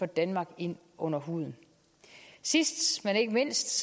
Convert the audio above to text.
danmark ind under huden sidst men ikke mindst